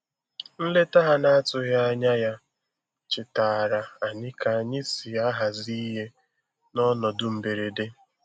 Nleta ha na atụghị anya ya chetaara anyị ka anyị si ahazi ihe n'ọnọdụ mgberede